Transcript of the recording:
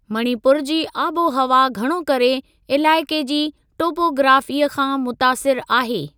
मणिपुर जी आबोहवा घणो करे इलाइक़े जी टोपोग्राफ़ीअ खां मुतासिर आहे।